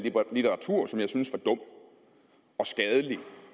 litteratur som jeg synes var dum og skadelig